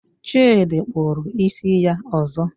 Chidi kpụrụ isi ya ọzọ.